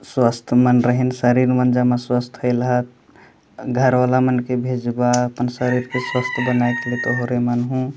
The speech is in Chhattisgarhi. स्वस्थ मन रहें शरीर मन स्वस्थ होई ला घर वाला मन के भेजवा अपन शरीर के स्वस्थ बन के तोहरे मन हे।